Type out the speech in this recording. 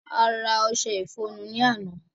A ra ọṣe ìfọrunni àná